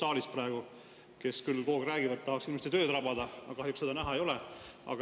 Siin küll kogu aeg räägitakse, et tahaks hirmsasti tööd rabada, aga kahjuks seda näha ei ole.